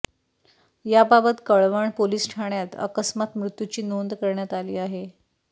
याबाबत कळवण पोलीस ठाण्यात अकस्मात मृत्यूची नोंद करण्यात आली आहे